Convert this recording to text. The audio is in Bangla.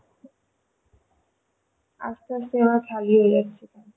আস্তে আস্তে সবাই ছাড়িয়ে যাচ্ছে